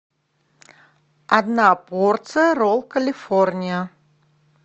одна порция ролл калифорния